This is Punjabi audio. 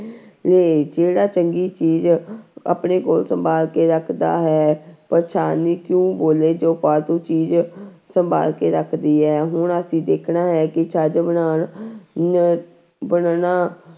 ਲੇ ਜਿਹੜਾ ਚੰਗੀ ਚੀਜ਼ ਆਪਣੇ ਕੋਲ ਸੰਭਾਲ ਕੇ ਰੱਖਦਾ ਹੈ ਪਰ ਛਾਨਣੀ ਕਿਉਂ ਬੋਲੇ ਜੋ ਫਾਲਤੂ ਚੀਜ਼ ਸੰਭਾਲ ਕੇ ਰੱਖਦੀ ਹੈ ਹੁਣ ਅਸੀਂ ਦੇਖਣਾ ਹੈ ਕਿ ਛੱਜ ਬਣਾਉਣ ਣ ਬਣਨਾ